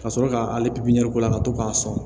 Ka sɔrɔ k'ale k'o la ka to k'a sɔn